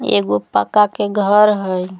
एगो पक्का के घर हई।